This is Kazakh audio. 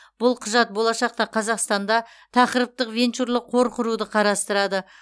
бұл құжат болашақта қазақстанда тақырыптық венчурлық қор құруды қарастырады